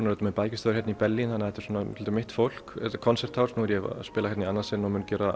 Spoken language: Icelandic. auðvitað með bækistöðvar hérna í Berlín þannig að þetta er svona svolítið mitt fólk þetta Konzerthaus nú er ég að spila hérna í annað sinn og mun gera